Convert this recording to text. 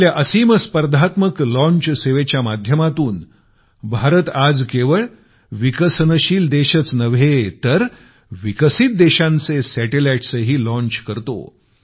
आपल्या असीम स्पर्धात्मक लॉंच सेवेच्या माध्यमातून भारत आज केवळ विकसनशील देशच नव्हे तर विकसित देशांचे सॅटेलाईट्सही लॉंच करतो